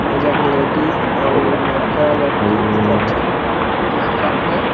ए जग लेडीज अउ लड़का- लड़की सब झन नाचत हे।